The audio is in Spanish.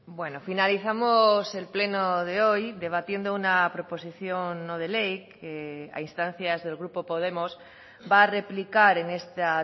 bueno finalizamos el pleno de hoy debatiendo una proposición no de ley que a instancias del grupo podemos va a replicar en esta